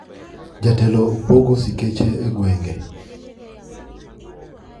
Jotelo pogo sikeche e gwenge